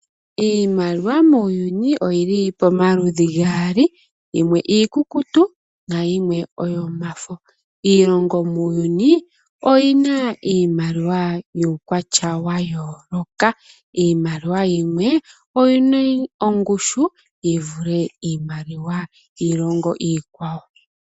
Iimaliwa muuyuni oyi li pomaludhi gaali, yimwe iikukutu nayimwe oyomafo. Iilongo muuyuni oyi na iimaliwa yuukwatya wa yooloka. Iimaliwa yimwe oyi na ongushu yi vule iimaliwa yiilongo iikwawo.